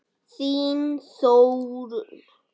Þín Þórunn.